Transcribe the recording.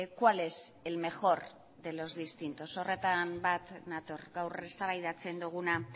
cuál es el mejor de los distintos horretan bat nator gaur eztabaidatzen duguna